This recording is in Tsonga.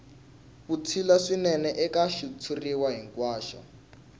vutshila swinene eka xitshuriwa hinkwaxo